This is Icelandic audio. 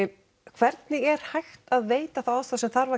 hvernig er hægt að veita þá aðstoð sem þarf